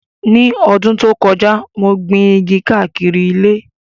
Ní ọdún tó kọjá, mo gbin igi káàkiri ilé